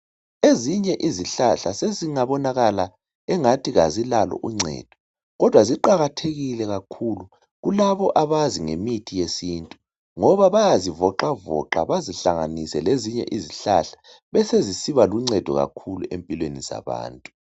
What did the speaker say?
Ezinye izihlahla sezingabonakala engathi azilalo uncedo kodwa ziqakathekile kakhulu kulabo abazi ngemithi yesintu ngoba bayazivoxavoxa bazihlanganise lezinye izihlahla besezisiba luncedo kakhulu empilweni zabantu.